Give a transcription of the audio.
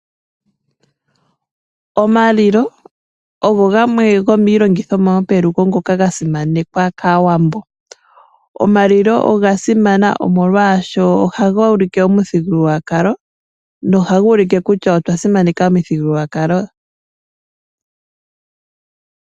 Omalilo ogo gamwe gomiilongithomwa yopelugo ngoka ga simanekwa kaAawambo. Omalilo oga simana omolwashoka ohaga ulike omuthigululwakalo kutya nohaga ulike kutya otwa simaneka omuthigululwakalo.